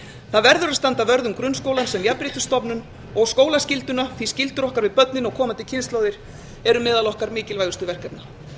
það verður að standa vörð um grunnskólann sem jafnréttisstofnun og skólaskylduna því skyldur okkar við börnin og komandi kynslóðir eru meðal okkar mikilvægustu verkefna